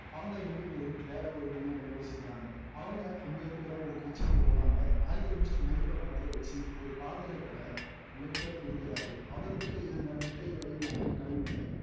அவங்க ரெண்டுபேரும் வேற ஒரு மொழியில பேசிக்கிறாங்க அவங்க அங்க இருக்கிற ஒரு kitchen க்கு போறாங்க அல்கெமிஸ்ட் நெருப்பை பத்தவச்சி ஒரு பாத்திரத்துல lead ஐ உருக்குறாரு அவர்கிட்ட இருந்த முட்டை வடிவிலான கல்லை